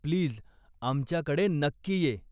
Please! आमच्याकडे नक्की ये.